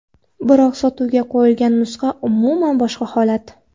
Biroq sotuvga qo‘yilgan nusxa umuman boshqa holat.